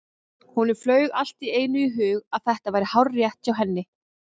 Honum flaug allt í einu í hug að þetta væri hárrétt hjá henni.